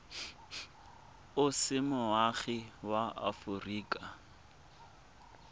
o se moagi wa aforika